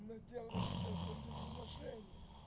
но делаешь это без уважения